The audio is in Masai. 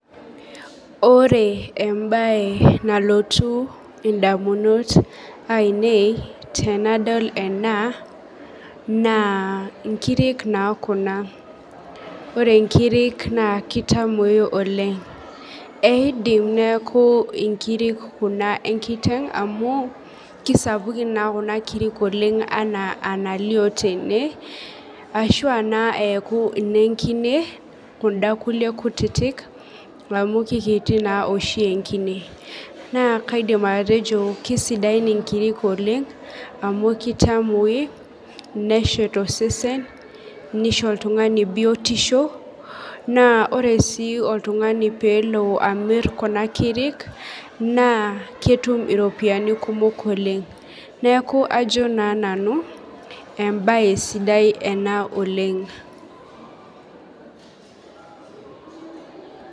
Ore embae nailotu ndamunot ainei tanadol ena na nkirik na kuna, ore nkirik na kitamui oleng, eidim neaku nkirik kuna enkiteng amu kisapukin naa kunakirik anaa enalio tene, ashu na eaku nenkine kunda kulie kutitik amu kekeiti naoshi enkine na kaidim atejo kesidain nkirik oleng amu kitamui neshet osesen nisho oltungani biotisho, na ore si oltungani pelo amir kuna kirik na kelo atum iropiyiani kumok oleng neaku kajo na nanu embae sidai ena oleng.